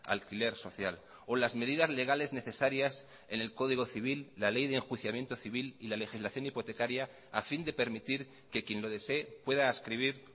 alquiler social o las medidas legales necesarias en el código civil la ley de enjuiciamiento civil y la legislación hipotecaria a fin de permitir que quien lo desee pueda adscribir